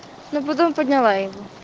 ну потом подняла его